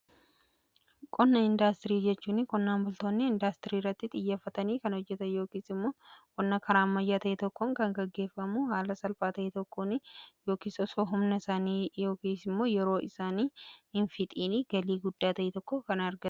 Qonna indaastirii jechuun qonnaan bultoonni indaastirii irratti xiyyeeffatanii kan hojjetan yookiis immoo qonna karaa ammayyaa ta'e tokkoon kan gaggeeffamu haala salphaa ta'e tokkoon yookiis immoo humna isaanii yookiis immoo yeroo isaanii hin fixiini galii guddaa ta'e tokko kan argatanidha.